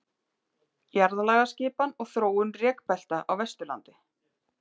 Jarðlagaskipan og þróun rekbelta á Vesturlandi.